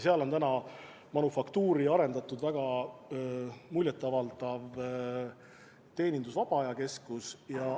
Seal on manufaktuurist arendatud väga muljet avaldav teenindus- ja vaba aja keskus.